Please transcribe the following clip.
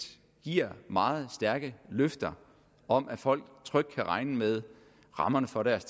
giver meget stærke løfter om at folk trygt kan regne med rammerne for deres